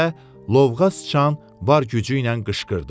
Deyə lovğa sıçan var gücü ilə qışqırdı.